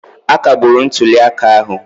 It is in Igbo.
Akagburu ntuli aka ahụ.